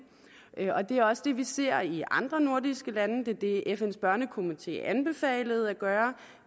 og det er også det vi ser i andre nordiske lande det er det fns børnekomité anbefalede at gøre